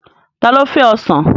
Ta ló fẹ́ Ọsàn?